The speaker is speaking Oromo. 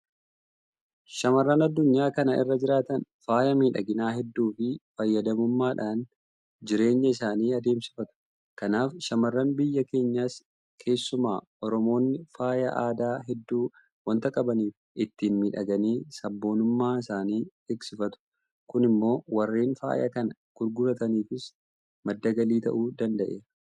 Shaamarran addunyaa kana irra jiraatan faaya miidhaginaa hedduu fayyadamuudhaan jireenya isaanii adeemsifatu. Kanaaf shaamarran biyya keenyaas keessumaa Oromoonni faaya aadaa hedduu waanta qabaniif ittiin miidhaganii sabboonummaa isaanii eegsifatu. Kun immoo warreen faaya kana gurgurataniifis madda galii ta'uu danda'eera.